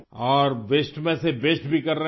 اور وسطے میں سے بیسٹ بھی کر رہے ہیں